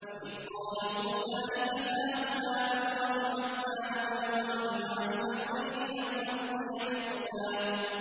وَإِذْ قَالَ مُوسَىٰ لِفَتَاهُ لَا أَبْرَحُ حَتَّىٰ أَبْلُغَ مَجْمَعَ الْبَحْرَيْنِ أَوْ أَمْضِيَ حُقُبًا